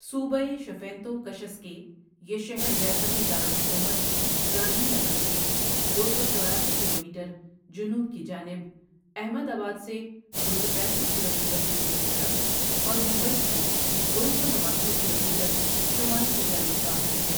صوبهٔ شفینتو کشسکے یہ شہر ریاستی دارالحکومت گاندھی نگر سے دو سو چوراسی کلومیٹر جنوب کی جانب، احمد آباد سے دو سو پنیسٹھ کلومیٹر جنوب کی طرف اور ممبئی سے دو سو نواسی کلومیٹر شمال کی جانب واقع ہے۔